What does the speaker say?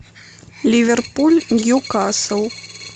ливерпуль ньюкасл